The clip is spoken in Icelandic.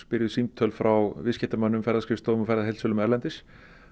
símtöl frá viðskiptamönnum ferðaskrifstofum og ferðaheildsölum erlendis